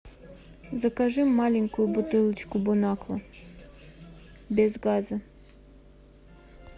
закажи маленькую бутылочку бон аква без газа